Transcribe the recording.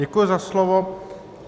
Děkuji za slovo.